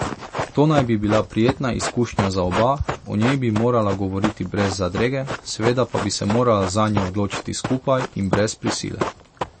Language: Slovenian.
To naj bi bila prijetna izkušnja za oba, o njej bi morala govoriti brez zadrege, seveda pa bi se morala zanjo odločiti skupaj in brez prisile.